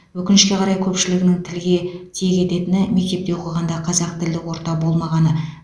өкінішке қарай көпшілігінің тілге тиек ететіні мектепте оқығанда қазақ тілді орта болмағаны